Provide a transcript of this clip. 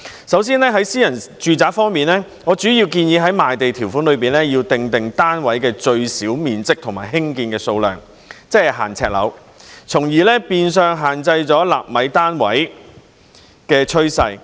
首先，在私人住宅方面，我主要建議在賣地條款中訂定單位的最小面積和興建的數量，即是"限呎樓"，從而變相限制興建"納米單位"的趨勢。